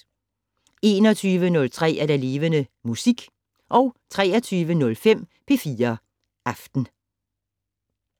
21:03: Levende Musik 23:05: P4 Aften